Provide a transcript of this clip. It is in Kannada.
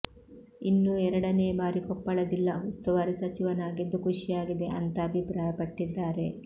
ಇನ್ನೂ ಎರಡನೇ ಬಾರಿ ಕೊಪ್ಪಳ ಜಿಲ್ಲಾ ಉಸ್ತುವಾರಿ ಸಚಿವನಾಗಿದ್ದು ಖುಷಿಯಾಗಿದೆ ಅಂತಾ ಅಭಿಪ್ರಾಯ ಪಟ್ಟಿದ್ದಾರೆ